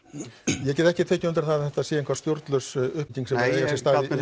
ég get ekki tekið undir það að þetta sé eitthvað stjórnlaus uppbygging sem á sér stað